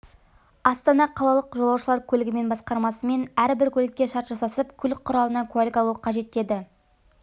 астана қалалық жолаушылар көлігімен басқармасымен әрбір көлікке шарт жасасып көлік құралына куәлік алуы қажет деді